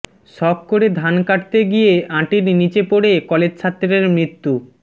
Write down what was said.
শখ করে ধান কাটতে গিয়ে আঁটির নিচে পড়ে কলেজছাত্রের মৃত্যু